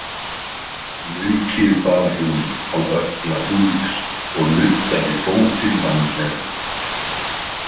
Maukið bar hún á ökkla Úlfs og nuddaði fótinn vandlega.